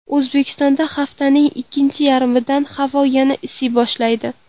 O‘zbekistonda haftaning ikkinchi yarmidan havo yana isiy boshlaydi.